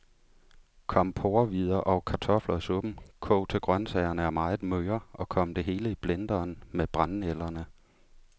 Kom porrehvider og kartofler i suppen, kog til grøntsagerne er meget møre, og kom det hele i blenderen med brændenælderne.